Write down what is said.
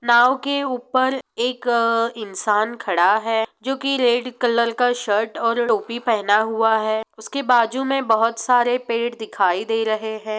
नाव के ऊपर एक इंसान खड़ा है जो की रेड कलर की शर्ट और टोपी पहना हुआ है| उसके बाजू में बहुत सारे पेड़ दिखाई दे रहे हैं।